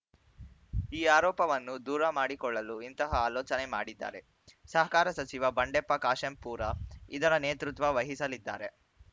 ಈ ಆರೋಪವನ್ನು ದೂರ ಮಾಡಿಕೊಳ್ಳಲು ಇಂತಹ ಆಲೋಚನೆ ಮಾಡಿದ್ದಾರೆ ಸಹಕಾರ ಸಚಿವ ಬಂಡೆಪ್ಪ ಕಾಶೆಂಪೂರ ಇದರ ನೇತೃತ್ವ ವಹಿಸಲಿದ್ದಾರೆ